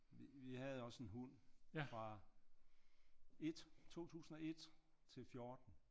Vi havde også en hund fra 1 2001 til 14